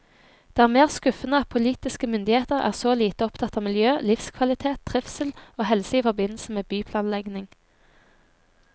Det er mer skuffende at politiske myndigheter er så lite opptatt av miljø, livskvalitet, trivsel og helse i forbindelse med byplanlegging.